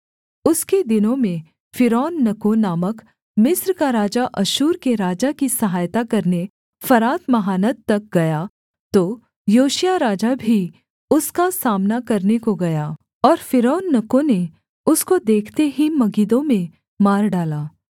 उसके दिनों में फ़िरौननको नामक मिस्र का राजा अश्शूर के राजा की सहायता करने फरात महानद तक गया तो योशिय्याह राजा भी उसका सामना करने को गया और फ़िरौननको ने उसको देखते ही मगिद्दो में मार डाला